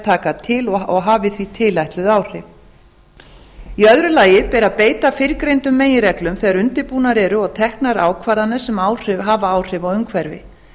taka til og hafi því tilætluð áhrif í öðru lagi ber að beita fyrrgreindum meginreglum þegar undir búnar eru og teknar ákvarðanir sem hafa áhrif á umhverfi